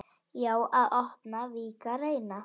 Já, að opna, víkka, reyna.